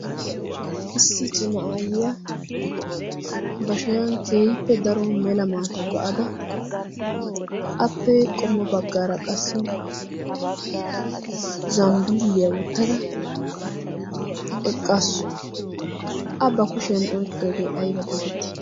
issi cima aayyiya ba shayan keehippe daro mela maata ba'ada appee qommo baggaara qassi zambbiliyaa wottada eqqaassu a ba kushiyan oiqqoogee ayba geetetti?